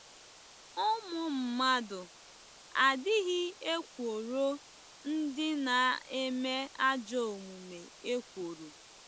Ụmụ mmadụ ‘adịghị ekworo ndị na-eme ajọ omume ekworo’.